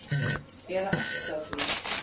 eða allt að því.